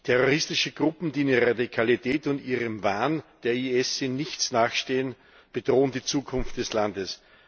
Terroristische Gruppen, die in ihrer Radikalität und in ihrem Wahn dem IS in nichts nachstehen, bedrohen die Zukunft des Landes.